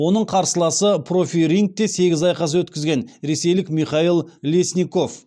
оның қарсыласы профирингте сегіз айқас өткізген ресейлік михаил лесников